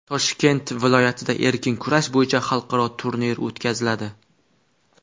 Toshkent viloyatida erkin kurash bo‘yicha xalqaro turnir o‘tkaziladi.